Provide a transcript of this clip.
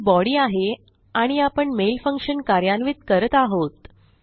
ही body आहे आणि आपण मेल फंक्शन कार्यान्वित करत आहोत